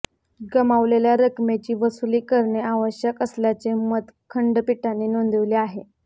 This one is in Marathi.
गमावलेल्या रकमेची वसुली करणे आवश्यक असल्याचे मत खंडपीठाने नोंदविले आहे